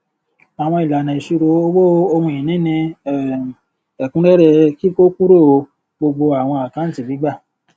àwọn ìlànà ìṣirò owó ohun ìní ní um ẹkúnrẹrẹ kíkọ kúrò gbogbo àwọn àkáǹtì gbígbà